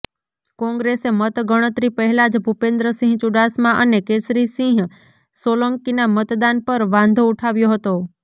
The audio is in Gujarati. કોંગ્રેસે મતગણતરી પહેલા જ ભૂપેન્દ્રસિંહ ચૂડાસમા અને કેસરીસિંહ સોલંકીના મતદાન પર વાંધો ઉઠાવ્યો હતો